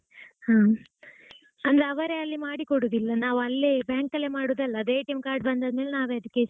ಹಾ ಅಂದ್ರೆ ಅವರೇ ಅಲ್ಲಿ ಮಾಡಿಕೊಡುದಿಲ್ಲ ನಾವು ಅಲ್ಲೇ bank ಅಲ್ಲೇ ಮಾಡುವುದು ಅಲ್ಲ್ವಾ ಅದು card ಆದ್ಮೇಲೆ ನಾವೇ .